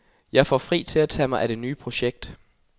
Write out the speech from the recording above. Jeg får fri til at tage mig af det nye projekt.